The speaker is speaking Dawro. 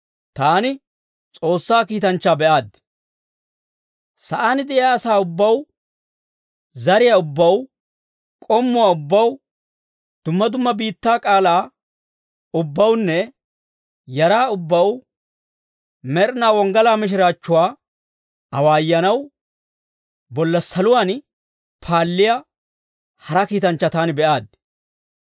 Sa'aan de'iyaa asaa ubbaw, zariyaa ubbaw, k'ommuwaa ubbaw, dumma dumma biittaa k'aalaa ubbawunne yaraa ubbaw med'inaa wonggalaa mishiraachchuwaa awaayanaw, bolla saluwaan paalliyaa hara kiitanchchaa taani be'aaddi.